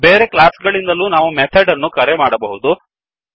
ಬೇರೆ ಕ್ಲಾಸ್ ಗಳಿಂದಲೂ ನಾವು ಮೆಥಡ್ ಅನ್ನು ಕರೆ ಮಾಡಬಹುದು